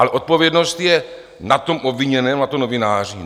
Ale odpovědnost je na tom obviněném, na tom novináři?